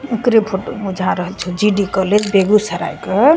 ओकरे फोटो बुझा रहल छे जी.डी. कॉलेज बेगुसराए के।